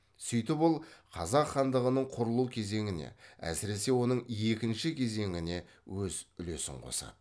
сөйтіп ол қазақ хандығының құрылу кезеңіне әсіресе оның екінші кезеңіне өз үлесін қосады